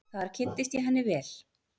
Þar kynntist ég henni vel.